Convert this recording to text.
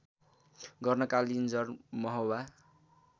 गर्न कालिन्जर महोबा